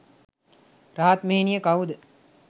රහත් මෙහෙණිය කවුද?